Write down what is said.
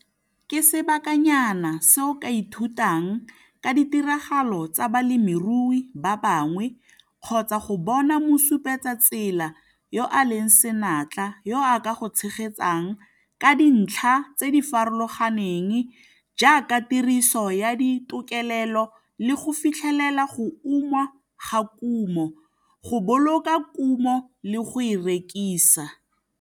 Ke sebakanyana se o ka ithutang ka ditiragalo tsa balemirui ba bangwe kgotsa go bona mosupetsatsela yo a leng senatla yo a ka go tshegetsang ka dintlha tse di farologaneng jaaka tiriso ya ditokelelo le go fitlhelela go uma ga kumo, go boloka kumo le go e rekisa.